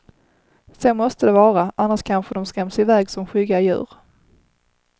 Så måste det vara, annars kanske de skräms i väg som skygga djur.